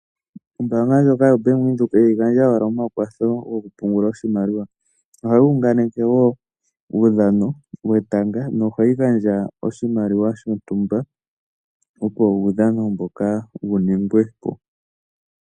Ombaanga ndjoka yoBank Windhoek ihayi gandja owala omakwatho gokupungula oshimaliwa. Ohayi unganeke wo uudhano wetanga nohayi gandja oshimaliwa shontumba, opo uudhano mboka wu ningwe po.